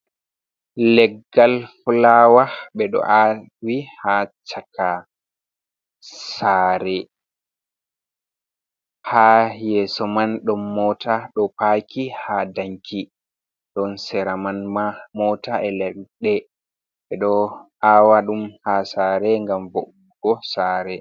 Leggal fulawa ɓe ɗo awi ha chaka sare, ha yeso man ɗon mota ɗo paki ha danki ɗon sera man ma mota e leɗɗe ɓe ɗo awa ɗum ha sare gam vo'ungo sare.